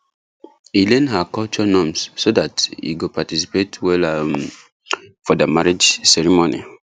e learn her culture norms so that he go participate weller um for their marriage ceremony